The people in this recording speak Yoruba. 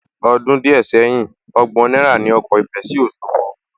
Ọdún díẹ̀ sẹ́yìn, ọgbọ̀n náírà ní ọkọ̀ ìfẹ sí Òsogbo